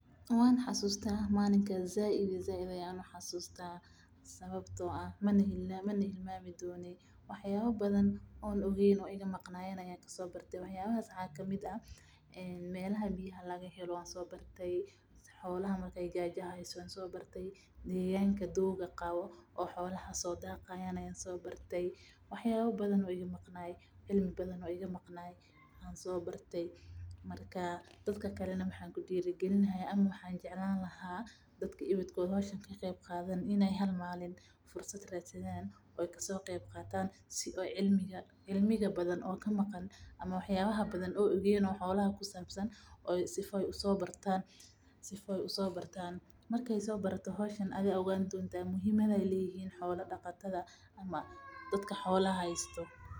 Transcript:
Waxan xasusta malinka sait ayan uxasusta sababto ah mana hilmami donii waxayaba badan on ogeyn oo iga maqnayin ayan kasbarti. wax yabas waxa kamid ah, melaha biya laga hela, xolaha rer badia haysto, deganka doga abo oy xolaha sodaqan wan so bartay, waxyaba badan oo iga maqnay cilmi badan oo igamaqnay ayan sobarti, marka dadka kalan waxankudiri gilinaya ama waxan jeclani lahay dadka ebedkod meshan kakqeyqadhanin, inay halmanin fursad radsadhan oy kasoqeybqatan sida cilmiga badan oo kamaqan, waxyaba badan oy ogen oo xola kusabsan oo sifudud uso bartan, markas sobarato howshan adha ogani donta muhimada ay lehyin xola daqatadha ama dadka xola haysto.